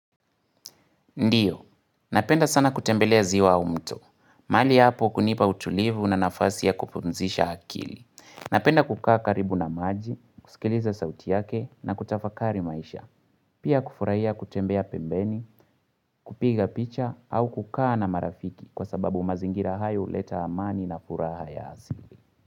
Ndiyo, napenda sana kutembelea ziwa au mto. Mahali hapo hunipa utulivu na nafasi ya kupumzisha akili. Napenda kukaa karibu na maji, kusikiliza sauti yake na kutafakari maisha. Pia kufurahia kutembea pembeni, kupiga picha au kukaa na marafiki kwa sababu mazingira hayo huleta amani na furaha ya asili.